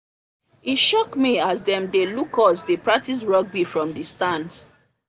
e shock me as them dey look us dey practice rugby from the stands